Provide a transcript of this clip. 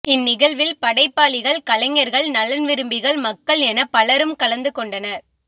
இன் நிகழ்வில் படைப்பாளிகள் கலைஞர்கள் நலன்விரும்பிகள் மக்கள் எனப் பலரும் கலந்துகொண்டனர்